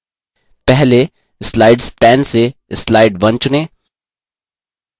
पहले slides pane से slide 1 चुनें